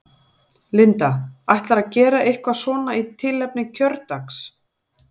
Linda: Ætlarðu að gera eitthvað svona í tilefni kjördags?